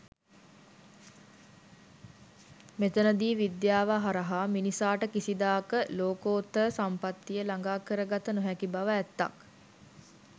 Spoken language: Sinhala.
මෙතනදී විද්‍යාව හරහා මිනිසාට කිසිදාක ලෝකෝත්තර සම්පත්තිය ළගා කරගත නොහැකි බව ඇත්තක්.